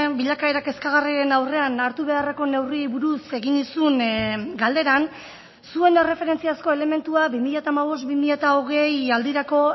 bilakaera kezkagarrien aurrean hartu beharreko neurriei buruz egin nizun galderan zuen erreferentziazko elementua bi mila hamabost bi mila hogei aldirako